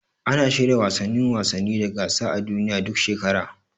Ana shirya wasannin wasanni da gasa a duniya, duk shekara.